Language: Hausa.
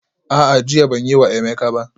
A'a, jiya ban yi wa Emeka ba